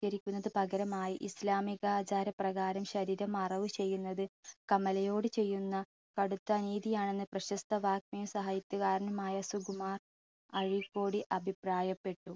പകരമായി ഇസ്ലാമിക ആചാര പ്രകാരം ശരീരം മറവ് ചെയ്യുന്നത് കമലയോട് ചെയ്യുന്ന കടുത്ത അനീതിയാണെന്ന് പ്രശസ്ത വാഗമയി സാഹിത്യകാരനുമായ സുകുമാർ അഴീക്കോട് അഭിപ്രായപ്പെട്ടു.